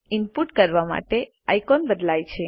input કરવા માટે icon બદલાય છે